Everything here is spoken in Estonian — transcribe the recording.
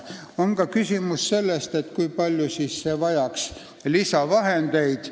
On ka küsimus, kui palju oleks vaja lisavahendeid.